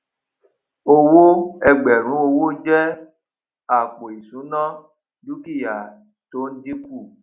owó ẹgbẹrún owó jẹ àpò ìṣúná dúkìá tó ń dínkù